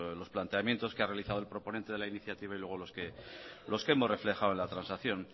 los planteamientos que ha realizado el proponente de la iniciativa y luego los que hemos reflejado en la transacción